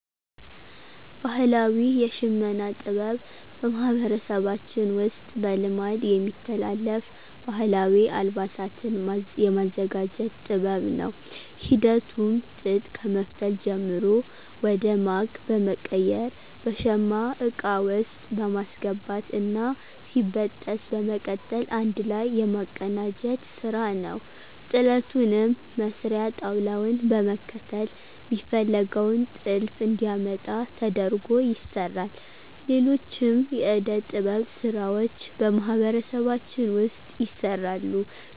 ባህላዊ የሽመና ጥበብ በማህበረሰባችን ውስጥ በልማድ የሚተላለፍ ባህላዊ አልባሳትን የማዘጋጀት ጥበብ ነው። ሂደቱም ጥጥ ከመፍተል ጀምሮ ወደ ማግ በመቀየር በሸማ እቃ ውስጥ በማስገባት እና ሲበጠስ በመቀጠል አንድ ላይ የማቀናጀት ስራ ነዉ። ጥለቱንም መስሪያ ጣውላዉን በመከተል ሚፈለገውን ጥልፍ እንዲያመጣ ተደርጎ ይሰራል። ሌሎችም የእደ-ጥበብ ስራዎች በማህበረሰባችን ውስጥ ይሰራሉ።